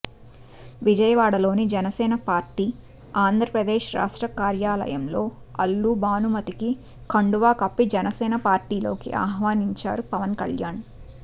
విజయవాడలోని జనసేన పార్టీ ఆంధ్రప్రదేశ్ రాష్ట్ర కార్యాలయంలో అల్లు భానుమతికి కండువా కప్పి జనసేన పార్టీలోకి ఆహ్వానించారు పవన్ కల్యాణ్